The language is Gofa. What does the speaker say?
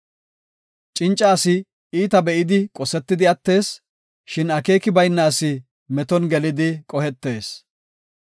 Cinca asi iita be7idi qosetidi attees; shin akeeki bayna asi meton gelidi qohetees.